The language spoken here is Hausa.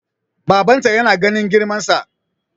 babbanta yana ganin girmansa